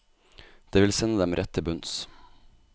Det vil sende dem rett til bunns.